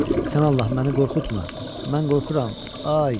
Sən Allah, məni qorxutma, mən qorxuram.